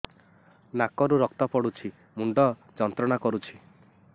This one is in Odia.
ନାକ ରୁ ରକ୍ତ ପଡ଼ୁଛି ମୁଣ୍ଡ ଯନ୍ତ୍ରଣା କରୁଛି